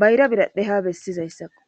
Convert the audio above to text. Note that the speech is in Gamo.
bayra biradhe ha bessizayssakko